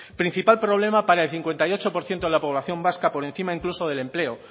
principal problema para el cincuenta y ocho por ciento de la población vasca por encima incluso del empleo